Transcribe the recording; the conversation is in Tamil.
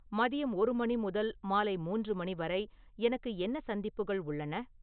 மதியம் ஒரு மணி முதல் மாலை மூன்று மணி வரை எனக்கு என்ன சந்திப்புகள் உள்ளன